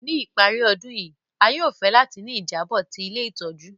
Ni ìparí ọdun yi, a yóò fẹ láti ni ìjábò ti ilé ìtójú